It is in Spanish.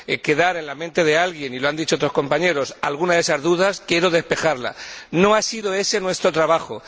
quedar en la mente de alguien —y lo han dicho otros compañeros— alguna de esas dudas, quiero despejarla. No ha sido ese nuestro trabajo.